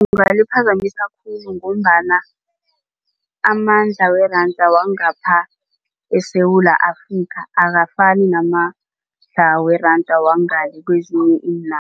Kungaliphazamisa khulu ngombana amandla weranda wangapha eSewula Afrika akafani namandla weranda wangale kwezinye